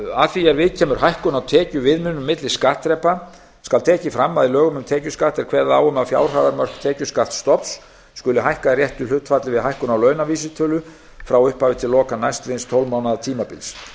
að því er viðkemur hækkun á tekjuviðmiðunum milli skattþrepa skal tekið fram að í lögum um tekjuskatt er kveðið á um að fjárhæðarmörk tekjuskattsstofns skuli hækka í réttu hlutfalli við hækkun á launavísitölu frá upphafi til loka næstliðins tólf mánaða tímabils